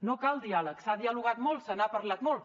no cal diàleg s’ha dialogat molt se n’ha parlat molt